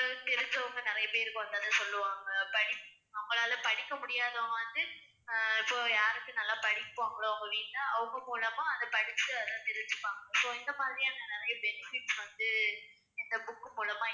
தெரிஞ்சவங்க நிறைய பேருக்கு வந்து அதை சொல்லுவாங்க படிப்~ அவங்களால படிக்க முடியாதவங்க வந்து அஹ் இப்போ யாருக்கு நல்லா படிப்பாங்களோ அவங்க வீட்ல அவங்க மூலமா அதை படிச்சு அதை தெரிஞ்சுப்பாங்க so இந்த மாதிரியான நிறைய benefits வந்து இந்த book மூலமா